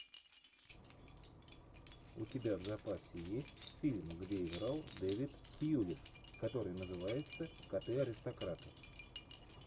у тебя в запасе есть фильм где играл дэвид тьюлис который называется коты аристократы